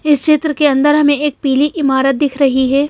इस चित्र के अंदर हमें एक पीली इमारत दिख रही है।